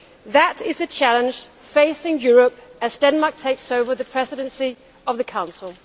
That is the challenge facing Europe as Denmark takes over the Presidency of the Council.